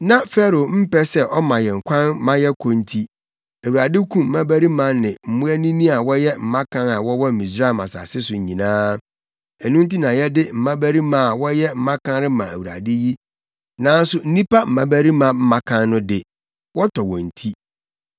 Na Farao mpɛ sɛ ɔma yɛn kwan ma yɛkɔ nti, Awurade kum mmabarima ne mmoanini a wɔyɛ mmakan a wɔwɔ Misraim asase so nyinaa. Ɛno nti na yɛde mmabarima a wɔyɛ mmakan rema Awurade yi, nanso nnipa mmabarima mmakan no de, wɔtɔ wɔn ti.’